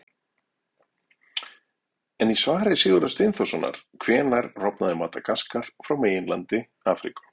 En í svari Sigurðar Steinþórssonar Hvenær rofnaði Madagaskar frá meginlandi Afríku?